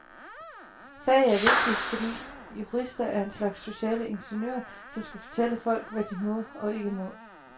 Faget er vigtigt, fordi jurister er en slags sociale ingeniører, som skal fortælle folk, hvad de må og ikke må.